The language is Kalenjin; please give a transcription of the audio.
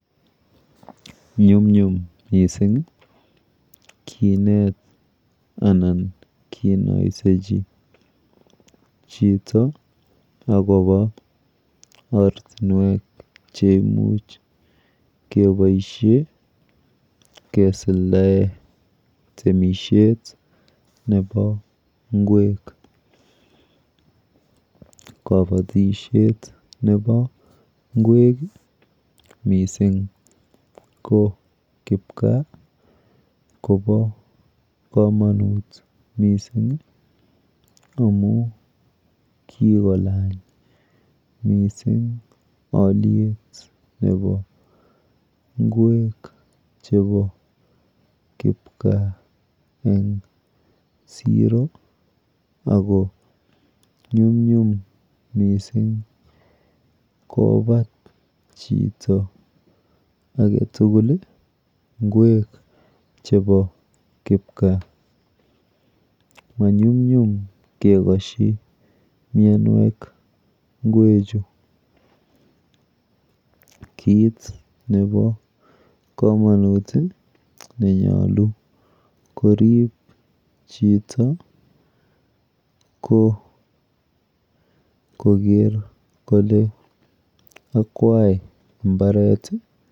Nyumnyum mising kinet anan kinoisechi chito akopo ortinwek cheimuch keboishe kesuldae temishet nepo ng'wek. Kabatishet nepo ng'wek mising ko kipkaa kopo komonut mising amu kikolany mising alyet nepo ng'wek chepo kipkaa eng siro ako nyumnyum mising kopat chito aketugul ng'wek chepo kipkaa. Manyumnyum kekoshi mienwek ng'wechu. Kit nepo komonut nenyolu korip chito ko koker kole akwai mbaret...